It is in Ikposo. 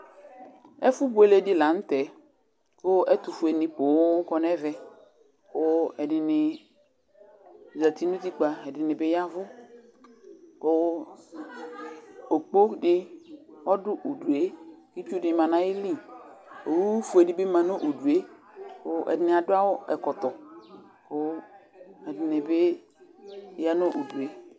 Ɛfʋbuele di la nʋtɛ, kʋ ɛtʋfueni pookɔ n'ɛvɛ, kʋ ɛdini zǝtɩ n'utikpǝ, ɛdini bi yavu Kʋ okpo di ɔdʋ udue Itsu di ma n'ayili, owufue di bɩ ma nʋ udue, kʋ ɛdini adu ɛkɔtɔ Kʋ ɛdini bɩ ya nʋ udue